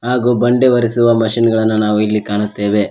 ಹಾಗು ಬಂಡೆ ಒರೆಸುವ ಮಿಷನ್ ಗಳನ್ನು ನಾವು ಇಲ್ಲಿ ಕಾಣುತ್ತೇವೆ.